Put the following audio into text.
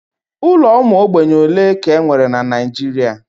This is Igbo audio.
Ụlọ ụmụ ogbenye ole ka e nwere na Naijiria?